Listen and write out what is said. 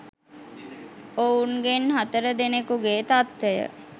ඔවුන්ගෙන් හතර දෙනකුගේ තත්වය